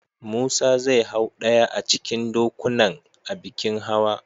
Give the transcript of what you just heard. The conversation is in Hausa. Musa zai hau ɗaya a cikin dokunan a bikin hawa.